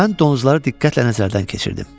Mən donuzları diqqətlə nəzərdən keçirdim.